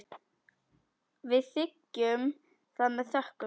Við þiggjum það með þökkum.